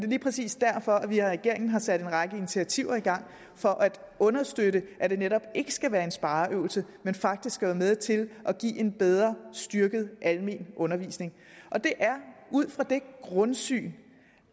lige præcis derfor at vi i regeringen har sat en række initiativer i gang for at understøtte at det netop ikke skal være en spareøvelse men faktisk være med til at give en bedre og styrket almen undervisning det er ud fra det grundsyn